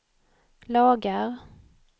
lagar